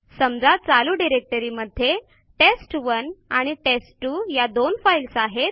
समजा चालू डिरेक्टरी मध्ये टेस्ट1 आणि टेस्ट2 या दोन फाईल्स आहेत